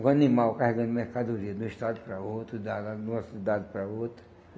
Um animal carregando mercadorias de um estado para outro, da da de uma cidade para outra.